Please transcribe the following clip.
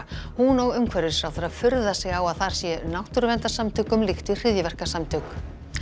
hún og umhverfisráðherra furða sig á að þar sé náttúruverndarsamtökum líkt við hryðjuverkasamtök